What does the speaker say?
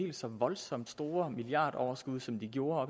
helt så voldsomt store milliardoverskud som de gjorde